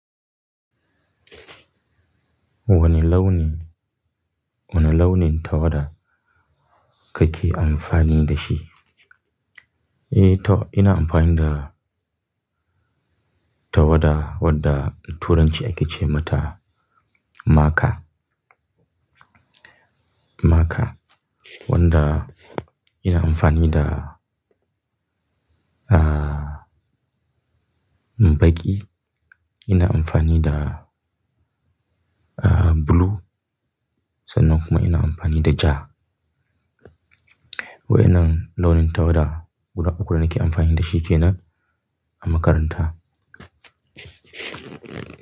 Wani launin, wane launin tawada kake amfani da shi? Eh to, ina amfani da tawada wadda, da Turanci ake ce mata marker. Marker, wanda ina amfani da, bagi. Ina amfani da, ah, blue sannan kuma ina amfani da ja. Wa'innan launin tawada, guda uku da nake amfani da shi kena a makaranta.